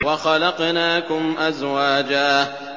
وَخَلَقْنَاكُمْ أَزْوَاجًا